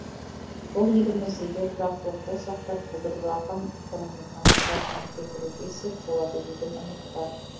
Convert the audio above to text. бұл еліміздегі тұрақтылықты сақтап құлдыраған экономиканы қалпына келтіруге сеп болады деген үміт бар